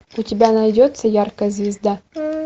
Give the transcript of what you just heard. у тебя найдется яркая звезда